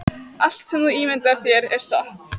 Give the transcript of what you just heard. Allt sem þú ímyndar þér er satt